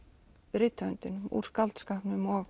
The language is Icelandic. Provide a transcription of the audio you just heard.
rithöfundinum úr skáldskapnum og